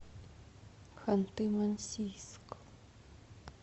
ханты мансийск